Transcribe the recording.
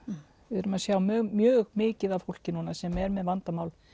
við erum að sjá mjög mjög mikið af fólki núna sem er með vandamál